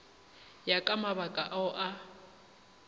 ya ka mabaka ao a